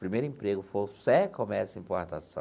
Primeiro emprego, foi comércio e importação.